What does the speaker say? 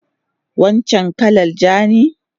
Wancan kalan ja ne?